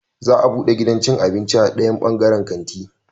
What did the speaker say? Za a bude gidan cin abinci a dayan bangaren kanti